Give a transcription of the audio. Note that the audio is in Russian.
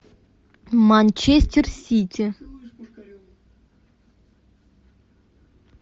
манчестер сити